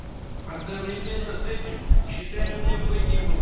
одновременно с этим считаем необходимым